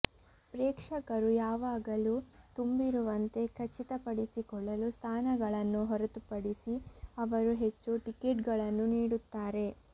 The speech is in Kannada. ಪ್ರೇಕ್ಷಕರು ಯಾವಾಗಲೂ ತುಂಬಿರುವಂತೆ ಖಚಿತಪಡಿಸಿಕೊಳ್ಳಲು ಸ್ಥಾನಗಳನ್ನು ಹೊರತುಪಡಿಸಿ ಅವರು ಹೆಚ್ಚು ಟಿಕೆಟ್ಗಳನ್ನು ನೀಡುತ್ತಾರೆ